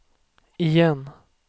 igen